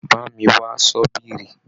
Bá mi wá ṣọ́bìrì.